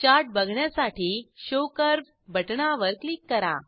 chart बघण्यासाठी show curve बटणावर click करा